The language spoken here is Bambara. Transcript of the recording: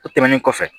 O tɛmɛnen kɔfɛ